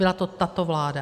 Byla to tato vláda!